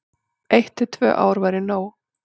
Eitt til tvö ár væri nóg.